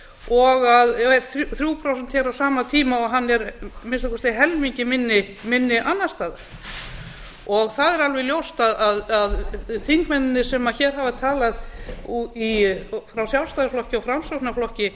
og þrjú prósent á sama tíma og hann er að minnsta kosti helmingi minni annars staðar það er alveg ljóst að þingmennirnir sem hér hafa talað frá sjálfstæðisflokki og framsóknarflokki